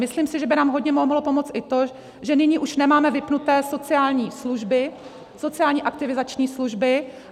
Myslím si, že by nám hodně mohlo pomoct i to, že nyní už nemáme vypnuté sociální služby, sociální aktivizační služby.